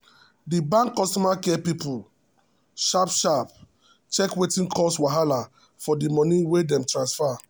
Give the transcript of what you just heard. the bank customer care people sharp sharp check wetin cause wahala for the money wey dem transfer.